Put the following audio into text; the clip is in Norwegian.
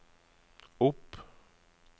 opp